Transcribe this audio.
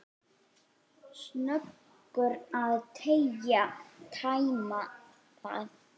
Snöggur að tæma það.